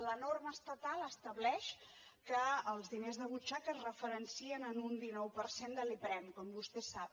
la norma estatal estableix que els diners de butxaca es referencien en un dinou per cent de l’iprem com vostè sap